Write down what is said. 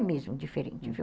É mesmo diferente, viu?